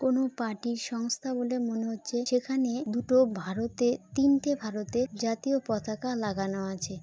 কোনো পার্টির সংস্থা বলে মনে হচ্ছে। সেখানে দুটো ভারতে-- তিনটে ভারতের জাতীয় পতাকা লাগানো আছে |